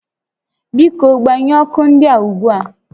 Biko gbanyụọ ọkụ ndịa ugbu a